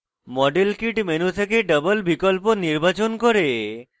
model kit menu থেকে double বিকল্প নির্বাচন করে